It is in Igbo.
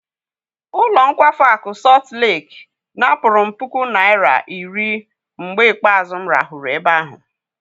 Ụlọ nkwafu akụ Sọt Leki napụrụ m puku naira iri mgbe ikpeazụ m rahụrụ ebe ahụ.